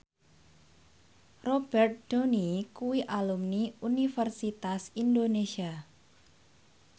Robert Downey kuwi alumni Universitas Indonesia